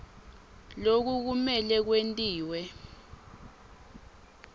loku kumele kwentiwe